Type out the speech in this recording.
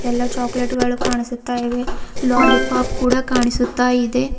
ಎಲ್ಲಾ ಚಾಕೊಲೇಟ್ ಗಳು ಕಾಣಿಸುತ್ತಾ ಇವೆ ಲೊಲಿಪೊಪ್ ಕೂಡ ಕಾಣಿಸುತ್ತಾ ಇದೆ.